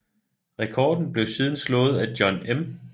Rekorden blev siden slået af John M